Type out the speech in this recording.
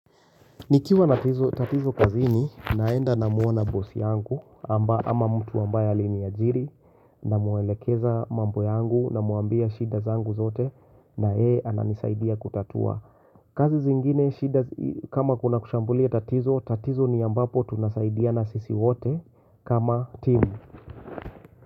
Nikiwa na tatizo kazini naenda namuona boss yangu ama mtu ambaye aliniajiri na muelekeza mambo yangu namuambia shida zangu zote na yeye ananisaidia kutatua. Kazi zingine shida kama kuna kushambulia tatizo, tatizo ni ambapo tunasaidiana sisi wote kama team.